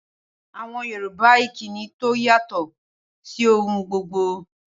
Awon Yoruba ni ikini to yato si ohun gbogbo